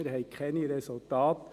Wir haben keine Resultate.